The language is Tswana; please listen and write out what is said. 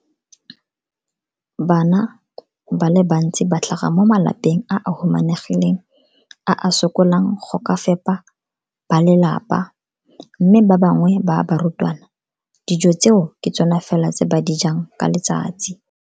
Bana ba le bantsi ba tlhaga mo malapeng a a humanegileng a a sokolang go ka fepa ba lelapa mme ba bangwe ba barutwana, dijo tseo ke tsona fela tse ba di jang ka letsatsi.